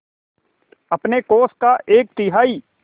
अपने कोष का एक तिहाई